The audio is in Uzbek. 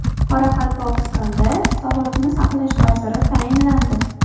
Qoraqalpog‘istonda sog‘liqni saqlash vaziri tayinlandi.